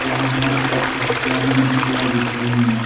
यहां हर तरफ मछलियां ही मछलियां बिक रही हैं।